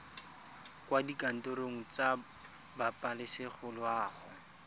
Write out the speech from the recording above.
kwa dikantorong tsa pabalesego loago